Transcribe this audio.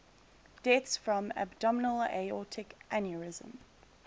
deaths from abdominal aortic aneurysm